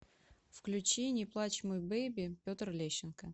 включи не плачь мой беби петр лещенко